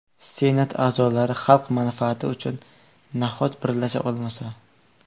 Senat a’zolari xalq manfaati uchun nahot birlasha olmasa?